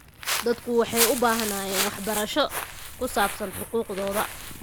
Dadku waxay u baahnaayeen waxbarasho ku saabsan xuquuqdooda.